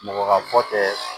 Mɔgɔ ka ko tɛ